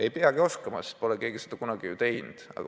Ei peagi oskama, sest keegi pole seda kunagi teinud.